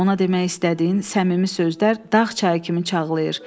Ona demək istədiyin səmimi sözlər dağ çayı kimi çağlayır.